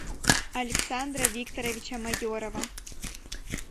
александра викторовича майорова